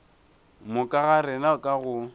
moka ga rena ka go